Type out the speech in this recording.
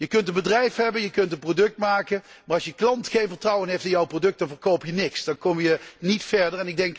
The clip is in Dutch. Je kunt een bedrijf hebben, je kunt een product maken, maar als je klant geen vertrouwen heeft in jouw product, dan verkoop je niks. Dan kom je niet verder.